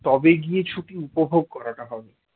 তবে গিয়ে ছুটি উপভোগ করাটা হবে